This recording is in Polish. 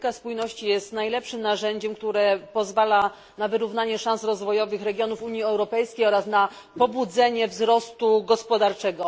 Polityka spójności jest najlepszym narzędziem, które pozwala na wyrównanie szans rozwojowych regionów Unii Europejskiej oraz na pobudzenie wzrostu gospodarczego.